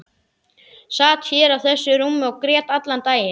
Sat hér á þessu rúmi og grét allan daginn.